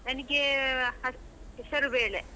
ನಂಗೇ, ಹ~ ಹೆಸರುಬೇಳೆ.